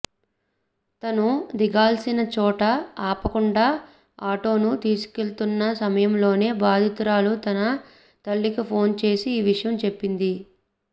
తను దిగాల్సిన చోట ఆపకుండా ఆటోను తీసుకెళ్తున్న సమయంలోనే బాధితురాలు తన తల్లికి ఫోన్ చేసి ఈ విషయం చెప్పింది